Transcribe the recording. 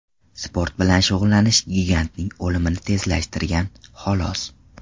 Sport bilan shug‘ullanish gigantning o‘limini tezlashtirgan, xolos.